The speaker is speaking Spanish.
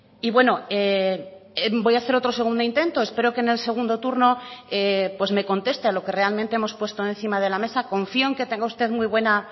y bueno voy hacer otro segundo intento espero que en el segundo turno pues me conteste a lo que realmente hemos puesto encima de la mesa confío en que tenga usted muy buena